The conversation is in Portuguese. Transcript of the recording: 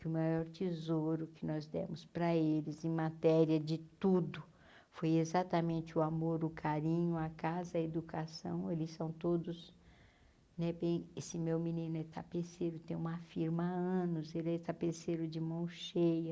que o maior tesouro que nós demos para eles, em matéria de tudo, foi exatamente o amor, o carinho, a casa, a educação, eles são todos... Né bem esse meu menino é tapeceiro tem uma firma há anos, ele é tapeceiro de mão cheia.